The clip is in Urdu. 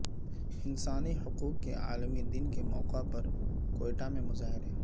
انسانی حقوق کے عالمی دن کے موقع پر کوئٹہ میں مظاہرے